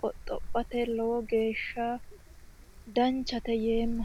qoxxophote lowo geeshsha danchate yeemma